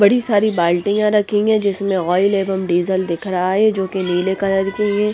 बड़ी सारी बाल्टियां रखेगे जिसमें ऑयल एवं डीजल दिख रहा हैं जो कि नीले कलर की हैं।